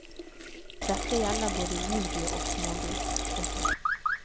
Dette gjelder både livdyr og smågris. punktum